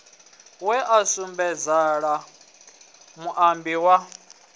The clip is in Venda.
we a sukumedzela muambi wa